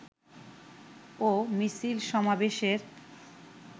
ও মিছিল সমাবেশের